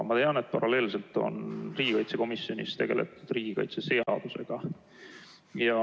Aga paralleelselt on riigikaitsekomisjonis tegeletud riigikaitseseadusega.